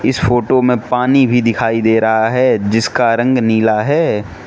इस फोटो में पानी भी दिखाई दे रहा है जिसका रंग नीला है।